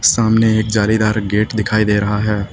सामने एक जालीदार गेट दिखाई दे रहा है।